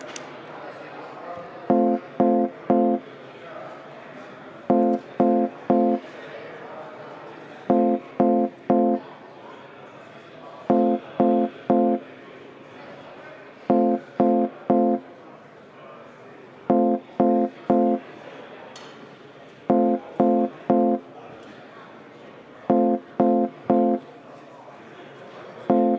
Ja et operatiivselt tegutseda, hakkabki juhatus kohe otsustama.